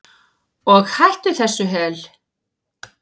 Og hætt þessu hel